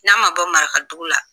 N'a ma bɔ marakadugu la